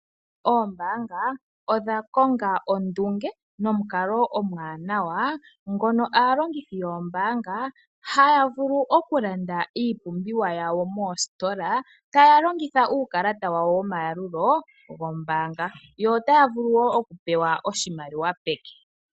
Oombaanga odha konga ondunge nomukalo omwanawa, ngoka aalongithi yoombaanga haya vulu okulanda iipumbiwa yawo moositola taya longitha uukakalata wawo womayalulo gombaanga, yo otaya vulu wo okupewa oshimaliwa peke.